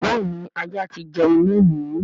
béèni ajá tí jẹ́un lóni.